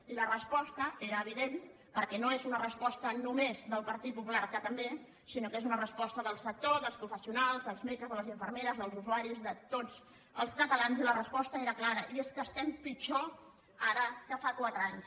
i la resposta era evident perquè no és una resposta només del partit popular que també sinó que és una resposta del sector dels professionals dels metges de les infermeres dels usuaris de tots els catalans i la resposta era clara i és que estem pitjor ara que fa quatre anys